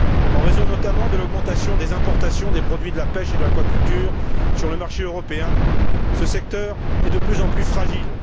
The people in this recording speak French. En raison, notamment, de l'augmentation des importations des produits de la pêche et de l'aquaculture sur le marché européen, ce secteur est de plus en plus fragile.